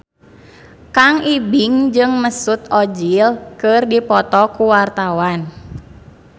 Kang Ibing jeung Mesut Ozil keur dipoto ku wartawan